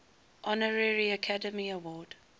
honorary academy award